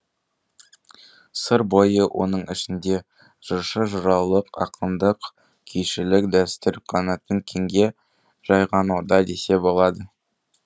сыр бойы оның ішінде жыршы жыраулық ақындық күйшілік дәстүр қанатын кеңге жайған орда десе болады